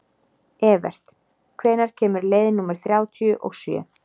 Evert, hvenær kemur leið númer þrjátíu og sjö?